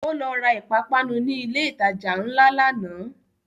Ó lọ ra ìpápánu ni ilẹ̀ ìtajà ńlá lánàá